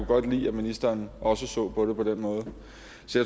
godt lide at ministeren også så på det på den måde